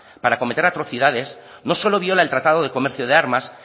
para cometer atrocidades no solo viola el tratado de comercio de armas